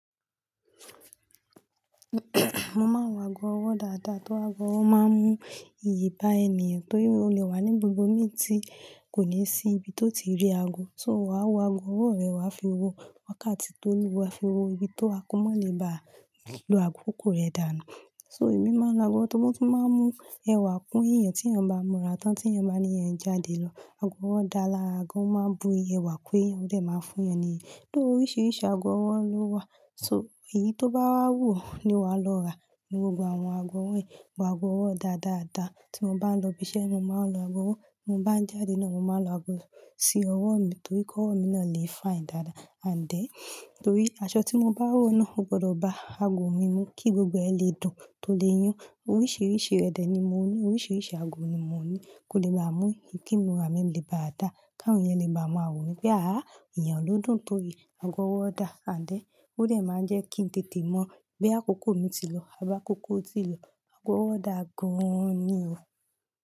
Mo máa ń wọ ago ọwọ́ dáadáa. Tó ago ọwọ́ máa ń mú iyì bá ènìyàn torí o lè wà ní gbogbo meeting kò ní sí ibi tó ti rí ago, so wà á wo ago ọwọ́ rẹ wá fi wo. Wákàtí tó lù wá fi wo ibi tó wá ko mọ́ le bá lo àkókò rẹ dànù. So èmi máa ń lo ago tó mọ́ tó máa ń mú ẹwà kún èèyàn tí èèyàn bá múra tán tí èèyàn bá ní ẹ́ ń jáde lọ. Ago ọwọ́ dá lara gan o máa ń bu ẹwà kún èèyàn, ó jè máa fún èèyàn níyìí. Though oríṣiríṣi ago ọwọ́ ló wà, so èyí tó bá wù ní wà á lọ rà nínú gbogbo àwọn ago wọ́n yìí. Ago ọwọ́ dáa dáadáa, tí mo bá ń lọ ibi iṣẹ́, mo máa ń lo ago ọwọ́. Mo bá ń jáde náà, mo máa ń lo ago sí ọwọ́ mi torí k'ọwọ́ mi náà lè fine dáadáa. And then, torí aṣọ tí mo bá wọ̀ náà ò gbọ́dọ̀ bá ago mi mú kí gbogbo ẹ̀ lè dùn tó lè yún. Oríṣiríṣi ẹ̀ dẹ̀ ni mo ní, oríṣiríṣi ago ni mo ní kò lè máa mú kí imura mì lè ba à dà ká àwọn èèyàn lè bá máa wo mí pé àá èèyàn ló dùn torí ago ọwọ́ dà. And then, ó dè máa ń jẹ́ kí ń tètè mọ bí àkókò mi ti lọ, àbi àkókò o ti lọ. Ago ọwọ́ dà gan an ni o.